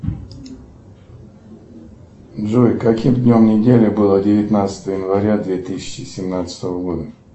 джой каким днем недели было девятнадцатое января две тысячи семнадцатого года